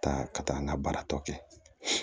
Ka taa ka taa n ka baara tɔ kɛ